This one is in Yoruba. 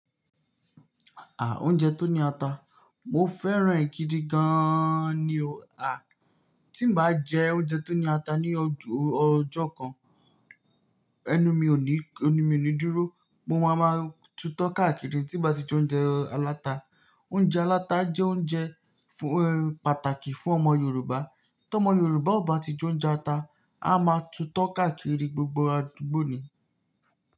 À, oúnjẹ tó ní ata. Mo fẹ́ràn è gidi gan an ni o. À, tí n bá jẹ oúnjẹ tó ní ata ní ọjọ́ kan, ẹnu mi ò ní, ẹnu mi ò ní dúró. Mo máa ma tutọ́ káàkiri tí n bá ti jẹ oúnjẹ aláta. Oúnjẹ aláta jẹ́ oúnjẹ fún, pàtàkì fún ọmọ Yorùbá. Tí ọmọ Yorùbá ò bá ti jẹ oúnjẹ ata, a máa tutọ́ káàkiri gbogbo àdúgbò ní.